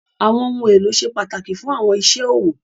Àwọn ohun elo sẹ́ pataki fún àwọn ìṣẹ́ òwò.